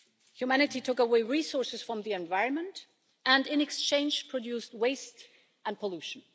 Humanity took away resources from the environment, and in exchange produced waste and pollution.